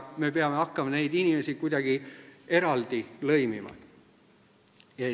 Me peame hakkama neid inimesi kuidagi eraldi lõimima.